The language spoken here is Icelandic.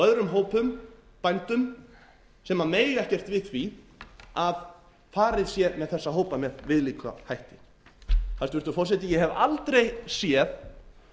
öðrum hópum bændum sem mega ekkert við því að farið sé með þessa hópa með viðlíka hætti hæstvirtur forseti ég hef aldrei séð